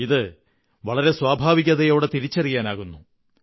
ഇത് വളരെ സ്വാഭാവികതയോടെ തിരിച്ചറിയാനാകുന്നു